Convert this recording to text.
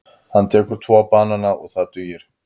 Hann tekur tvo banana og það dugir.